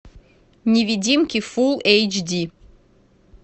невидимки фулл эйч ди